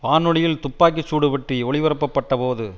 வானொலியில் துப்பாக்கி சூடு பற்றி ஒலிபரப்ப பட்ட போது